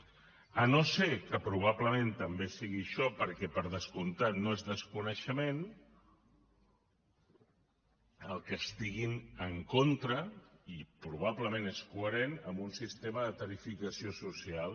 si no és que probablement també és això perquè per descomptat no és desconeixement que estan en contra i probablement és coherent d’un sistema de tarifació social